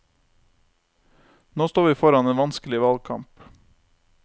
Nå står vi foran en vanskelig valgkamp.